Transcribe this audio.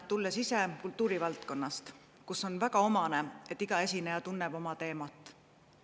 Tulen kultuurivaldkonnast, millele on omane, et iga esineja tunneb oma teemat.